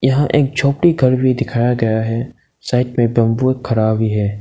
यहां एक झोपड़ी घर भी दिखाया गया है साइड में बंबू खड़ा भी है।